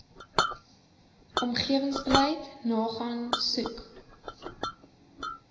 omgewingsbeleid nagaan soek